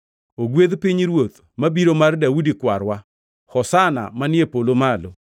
“Ogwedh pinyruoth mabiro mar Daudi kwarwa!” “Hosana manie polo malo!”